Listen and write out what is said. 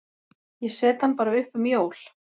Ég set hann bara upp um jól.